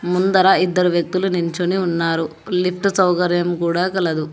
ముందర ఇద్దరు వ్యక్తులు నించోని ఉన్నారు లిఫ్ట్ సౌకర్యం కూడా కలదు.